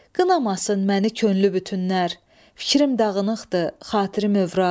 Qınamasın məni könlü bütünlər, fikrim dağınıqdır, xatirim övraq.